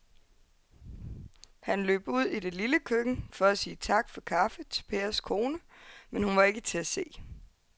Han løb ud i det lille køkken for at sige tak for kaffe til Pers kone, men hun var ikke til at se.